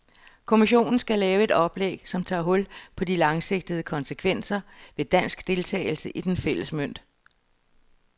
Kommissionen skal lave et oplæg, som tager hul på de langsigtede konsekvenser ved dansk deltagelse i den fælles mønt.